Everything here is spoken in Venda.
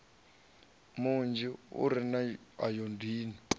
munzhi u re na ayodini